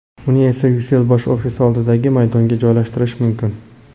Uni esa Ucell bosh ofisi oldidagi maydonga joylashtirish mumkin .